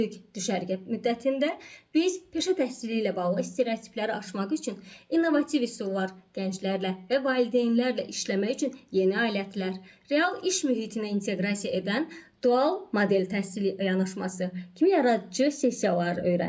Dörd günlük düşərgə müddətində biz peşə təhsili ilə bağlı stereotipləri aşmaq üçün innovativ üsullar, gənclərlə və valideynlərlə işləmək üçün yeni alətlər, real iş mühitinə inteqrasiya edən dual model təhsili yanaşması kimi yaradıcı sessiyalar öyrəndik.